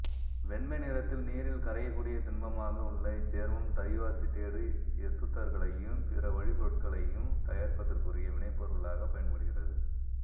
வெண்மை நிறத்தில் நீரில் கரையக்கூடிய திண்மமாக உள்ள இச்சேர்மம் தயோ அசிட்டேடு எசுத்தர்களையும் பிற வழிப்பொருட்களையும் தயாரிப்பதற்குரிய வினைப்பொருளாகப் பயன்படுகிறது